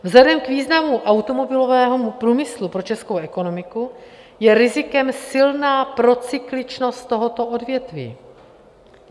Vzhledem k významu automobilového průmyslu pro českou ekonomiku je rizikem silná procykličnost tohoto odvětví.